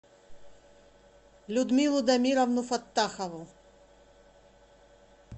людмилу дамировну фаттахову